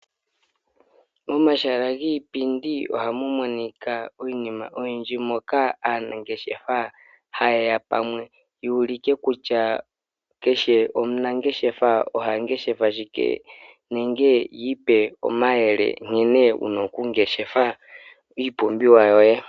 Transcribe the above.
Omahala giipindi ohamu monika iinima oyindji moka aanangeshefa haye ya pamwe yu ulike kutya keshe omunangeshefa oha ngeshefa shike nenge yi ipe omayele nkene wuna okungeshefa iipumbiwa yoye.